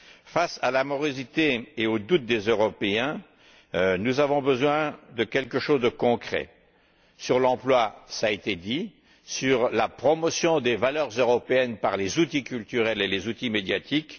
Face à la morosité et au doute des Européens, nous avons besoin de quelque chose de concret sur l'emploi, cela a été dit, sur la promotion des valeurs européennes par les outils culturels et les outils médiatiques.